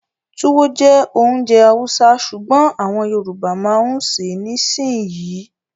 Túwó jẹ́ ounjẹ Hausa sùgbón àwọn Yorùbá ma ń ṣè é nisinyi